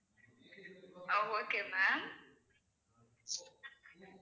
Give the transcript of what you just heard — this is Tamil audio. ah okay ma'am